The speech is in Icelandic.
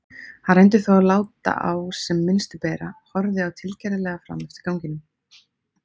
Hann reyndi þó að láta á sem minnstu bera og horfði tilgerðarlega fram eftir ganginum.